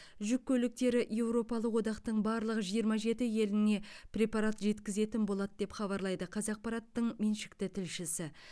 жүк көліктері еуропалық одақтың барлық жиырма жеті еліне препарат жеткізетін болады деп хабарлайды қазақпарат меншікті тілшісі